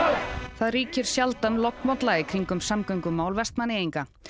það ríkir sjaldan lognmolla í kringum samgöngumál Vestmannaeyinga